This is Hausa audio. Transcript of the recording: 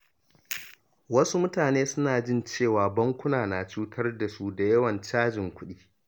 Wasu mutane suna jin cewa bankuna na cutar da su da yawan cajin kuɗi.